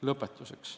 Lõpetuseks.